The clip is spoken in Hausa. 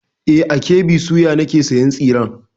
E, a KB soya ne nake sayan tsiren.